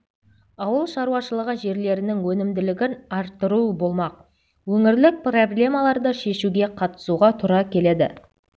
ауыл шаруашылығы жерлерінің өнімділігін арттыру болмақ өңірлік проблемаларды шешуге қатысуға тура келеді